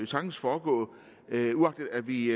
sagtens foregå uagtet at vi